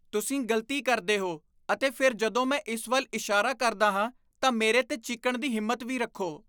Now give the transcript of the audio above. ਤੁਸੀਂ ਗ਼ਲਤੀ ਕਰਦੇ ਹੋ ਅਤੇ ਫਿਰ ਜਦੋਂ ਮੈਂ ਇਸ ਵੱਲ ਇਸ਼ਾਰਾ ਕਰਦਾ ਹਾਂ ਤਾਂ ਮੇਰੇ 'ਤੇ ਚੀਕਣ ਦੀ ਹਿੰਮਤ ਵੀ ਰੱਖੋ।